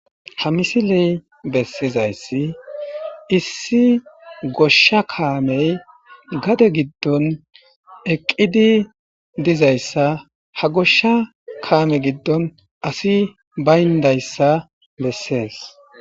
Ha misiley bessizayssi issi goshsha kaamey gade giddon eqqidi dizayssa ha goshsha kaame giddon asi bayndayssa bessees